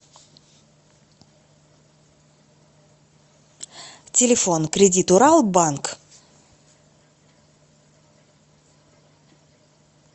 телефон кредит урал банк